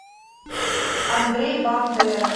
андрей бандера